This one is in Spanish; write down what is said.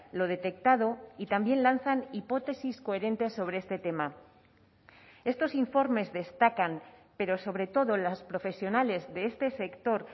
lo detectado y también lanzan hipótesis coherentes sobre este tema estos informes destacan pero sobre todo las profesionales de este sector